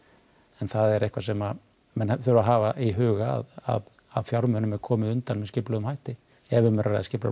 það er eitthvað sem menn verða að hafa í huga að fjármunum er komið undan með skipulögðum hætti ef um er að ræða skipulagða